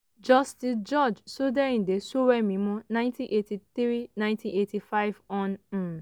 justice george sodeinde sowemimo - 1983–1985 hon. um